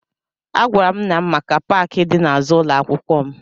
Agwara m nna m maka paakị dị n'azụ ụlọ akwụkwọ m